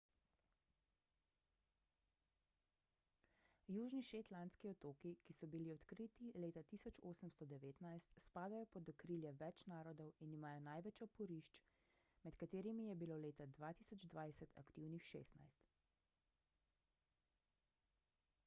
južni shetlandski otoki ki so bili odkriti leta 1819 spadajo pod okrilje več narodov in imajo največ oporišč med katerimi je bilo leta 2020 aktivnih 16